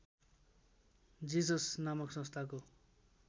जिसस नामक संस्थाको